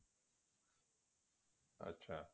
ਅੱਛਾ